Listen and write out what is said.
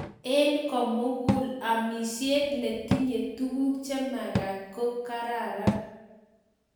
Eng komugul amishet netinye tuguk chemaktaat ko kararan